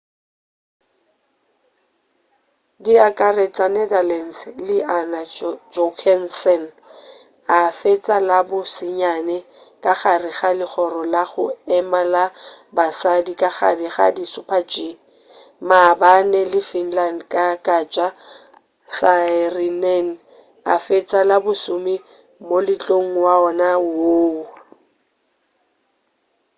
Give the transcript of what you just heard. di akaretša netherlands le anna jochemsen a fetša la bo senyane ka gare ga legoro la go ema la basadi ka gare ga di super-g maabane le finland ka katja saarinen a fetša la bo lesome moletlong wona woo